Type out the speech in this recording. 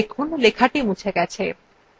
দেখুন লেখাটি মুছে গেছে